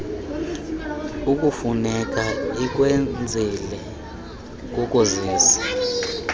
okufuneka ukwenzile kukuzisa